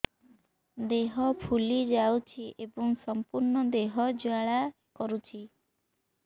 ଦେହ ଫୁଲି ଯାଉଛି ଏବଂ ସମ୍ପୂର୍ଣ୍ଣ ଦେହ ଜ୍ୱାଳା କରୁଛି